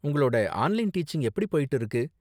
உங்களோட online teaching எப்படி போய்ட்டு இருக்கு?